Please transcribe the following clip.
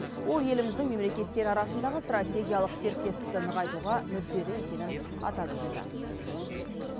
ол еліміздің мемлекеттер арасындағы стратегиялық серіктестікті нығайтуға мүдделі екенін атап өтті